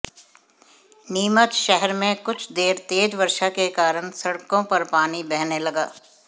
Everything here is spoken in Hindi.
नीमच शहर में कुछ देर तेज वर्षा के कारण सड़कों पर पानी बहने लगा